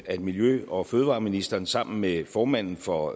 at miljø og fødevareministeren sammen med formanden for